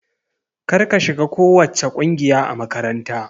Kar ka shiga kowacce ƙungiya a makaranta!